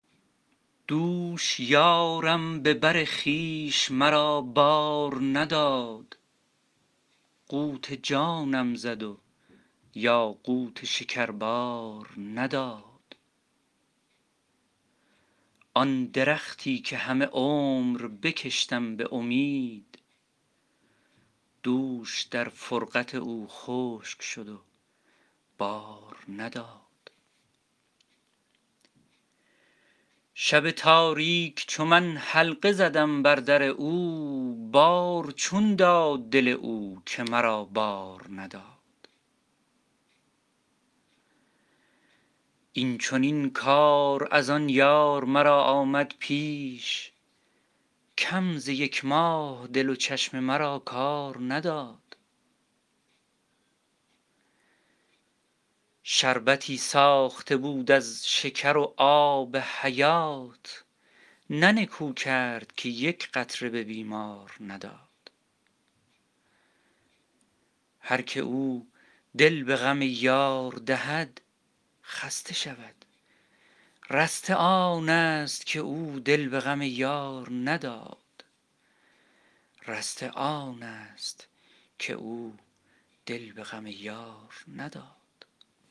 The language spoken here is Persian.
دوش یارم به بر خویش مرا بار نداد قوت جانم زد و یاقوت شکر بار نداد آن درختی که همه عمر بکشتم به امید دوش در فرقت او خشک شد و بار نداد شب تاریک چو من حلقه زدم بر در او بار چون داد دل او که مرا بار نداد این چنین کار از آن یار مرا آمد پیش کم ز یک ماه دل و چشم مرا کار نداد شربتی ساخته بود از شکر و آب حیات نه نکو کرد که یک قطره به بیمار نداد هر که او دل به غم یار دهد خسته شود رسته آنست که او دل به غم یار نداد